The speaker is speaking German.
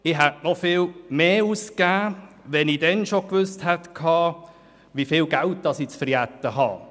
Ich hätte noch viel mehr ausgegeben, wenn ich damals schon gewusst hätte, wie viel Geld ich verjubeln kann.